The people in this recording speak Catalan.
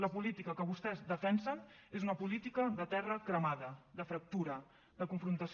la política que vostès defensen és una política de terra cremada de fractura de confrontació